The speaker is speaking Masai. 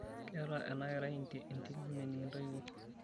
Keeta ena kerai entil mening' intoiwuo.